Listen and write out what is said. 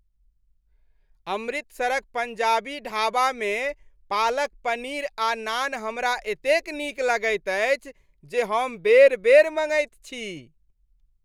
अमृतसरक पङ्जाबी ढाबामे पालक पनीर आ नान हमरा एतेक नीक लगैत अछि जे हम बेर बेर मँगैत छी।